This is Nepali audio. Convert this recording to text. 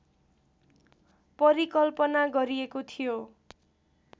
परिकल्पना गरिएको थियो